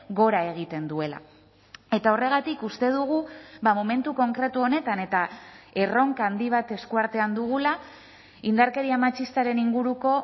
gora egiten duela eta horregatik uste dugu momentu konkretu honetan eta erronka handi bat eskuartean dugula indarkeria matxistaren inguruko